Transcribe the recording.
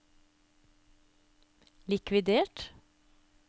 likvidert